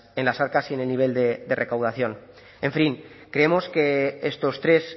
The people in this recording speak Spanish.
en las arcas y en el nivel de recaudación en fin creemos que estos tres